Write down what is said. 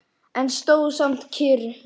En stóð samt kyrr.